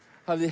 hafði